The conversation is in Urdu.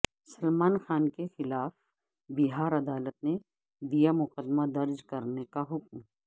سلمان خان کیخلاف بہار عدالت نے دیامقدمہ درج کرنے کا حکم